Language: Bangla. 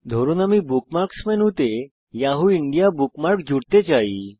ধরুন আমি বুকমার্কস মেনুতে যাহু ইন্দিয়া বুকমার্ক জুড়তে চাই